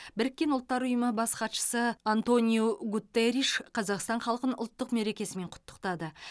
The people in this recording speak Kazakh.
біріккен ұлттар ұйымы бас хатшысы антониу гутерриш қазақстан халқын ұлттық мерекесімен құттықтады